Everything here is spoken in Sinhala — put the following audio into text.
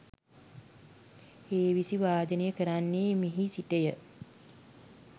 හේවිසි වාදනය කරන්නේ මෙහි සිටය.